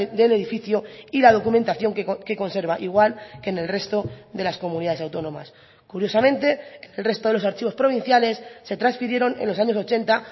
del edificio y la documentación que conserva igual que en el resto de las comunidades autónomas curiosamente el resto de los archivos provinciales se transfirieron en los años ochenta